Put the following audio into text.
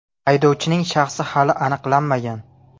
Haydovchining shaxsi hali aniqlanmagan.